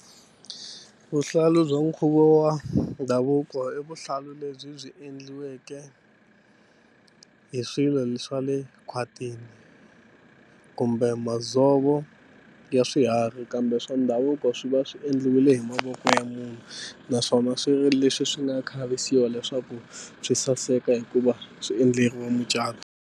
Vuhlalu bya nkhuvo wa ndhavuko i vuhlalu lebyi byi endliweke hi swilo swa le khwatini kumbe madzovo ya swiharhi kambe swa ndhavuko swi va swi endliwile hi mavoko ya munhu naswona swi ve leswi swi nga khavisiwa leswaku swi saseka hikuva swi endleriwa mucato.